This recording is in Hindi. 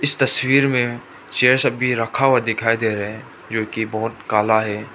इस तस्वीर में चेयर सब भी रखा हुआ दिखाई दे रहे हैं जो की बहोत काला है।